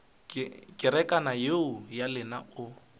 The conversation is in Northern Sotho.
kerekana yeo ya lena o